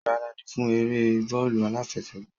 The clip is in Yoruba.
Gbaradi fún eré bóólù aláfẹṣègbàá!